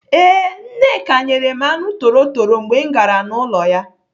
Ee, Nneka nyere m anụ torotoro mgbe m gara n'ụlọ ya.